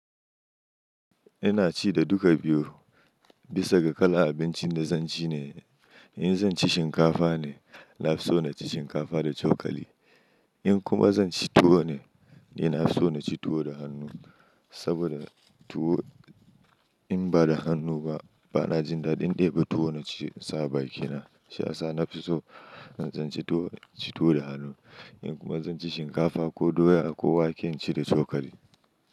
Ina ci da duka biyu bisa ga kalan abincin da zan ci ne. In zan ci shinkafa ne, na so na ci shinkafa da cokali. In kuma zan ci tuwo ne, ina so na ci tuwo da hannu. Saboda tuwo in ba da hannu ba, ba na jin daɗin daiba tuwo na ci insa a bakina. Shiya sa nafiso in tsin ci tuwo, ci tuwo da hannu. In kuma zan ci shinkafa ko doya ko wake, in ci da cokali.